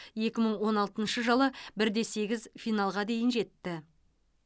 екі мың он алтыншы жылы бірде сегіз финалға дейін жетті